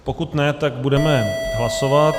Pokud ne, tak budeme hlasovat.